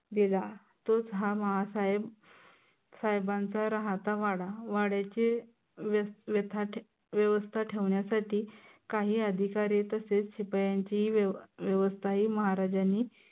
दिला. तोच हा माँ साहेब साहेबांचा राहाता वाडा वाड्याची व्यथा व्यवस्था ठेवण्यासाठी काही अधिकारी तसेच शिपायांचीही व्यव व्यवस्था ही महाराजांनी